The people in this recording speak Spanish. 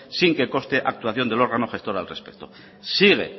sin que conste actuación del órgano gestor al respecto sigue